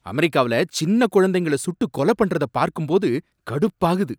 அமெரிக்கால சின்ன குழந்தைகள சுட்டு கொலை பண்றத பார்க்கும்போது கடுப்பாகுது.